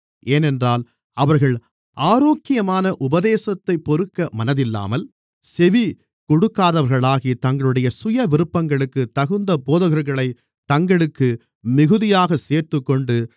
ஏனென்றால் அவர்கள் ஆரோக்கியமான உபதேசத்தைப் பொறுக்க மனதில்லாமல் செவி கொடுக்காதவர்களாகி தங்களுடைய சுயவிருப்பங்களுக்குத் தகுந்த போதகர்களைத் தங்களுக்கு மிகுதியாக சேர்த்துக்கொண்டு